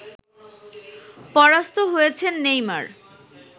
পরাস্ত হয়েছেন নেইমার